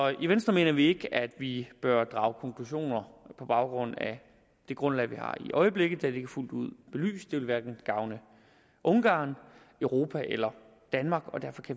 i venstre mener vi ikke at vi bør drage konklusioner på baggrund af det grundlag vi har i øjeblikket da det ikke er fuldt ud belyst det vil hverken gavne ungarn europa eller danmark